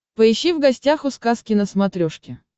поищи в гостях у сказки на смотрешке